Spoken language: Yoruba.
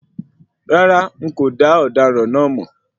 Rárá,n kò dá ọdaràn náà máa.